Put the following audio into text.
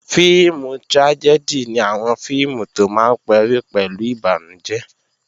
Fíìmù trájẹ́dì ni àwọn fíìmù tó máa ń parí pẹ̀lú ìbànújẹ́